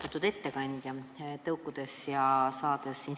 Austatud ettekandja!